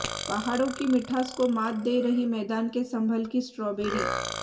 पहाड़ों की मिठास को मात दे रही मैदान के संभल की स्ट्रॉबेरी